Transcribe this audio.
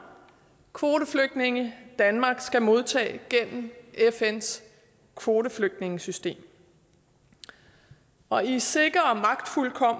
kvoteflygtninge danmark skal modtage gennem fns kvoteflygtningesystem og i sikker